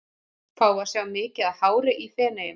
Fáum við að sjá mikið af hári í Feneyjum?